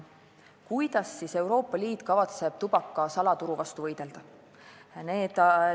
Kuidas siis Euroopa Liit kavatseb tubaka salaturu vastu võidelda?